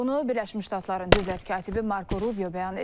Bunu Birləşmiş Ştatların dövlət katibi Marko Rubio bəyan edib.